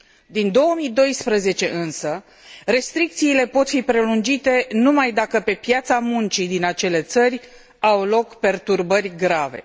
Din 2012, însă, restricțiile pot fi prelungite numai dacă pe piața muncii din acele țări au loc perturbări grave.